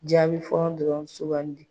Jaabi fɔlɔ dɔrɔnw sugandi.